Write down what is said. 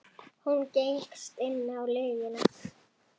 Hún gengst inn á lygina.